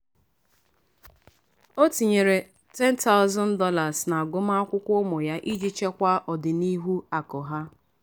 ọ tinyeere $10000 n'agụmakwụkwọ ụmụ ya iji chekwaa ọdịnihu akụ ha.